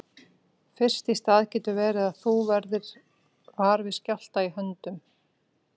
Fyrst í stað getur verið að þú verðir var við skjálfta í höndum.